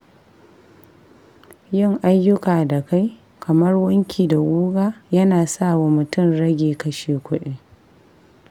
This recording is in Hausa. Yin ayyuka da kai, kamar wanki da guga, yana sawa mutum ya rage kashe kuɗi.